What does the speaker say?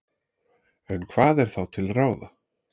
En hvað er þá til ráða?